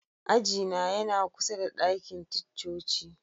Aji na yana kusa da dakin ticcoci.